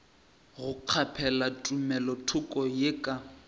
go kgaphela tumelothoko ye ka